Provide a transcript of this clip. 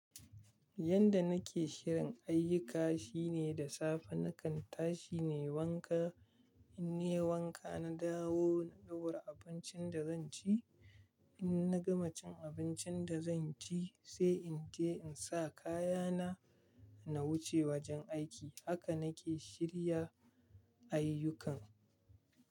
Yanda nake shirin ayyuka shine da safe nakan tashi ne wanka, in yi wanka na dawo na ɗaura abincin da zan ci. In na gama cin abincin da zan ci sai in je in sa kaya na, na wuce wajen aiki. Haka nake shirya ayyukana.